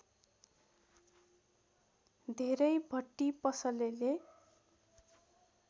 धेरै भट्टी पसलेले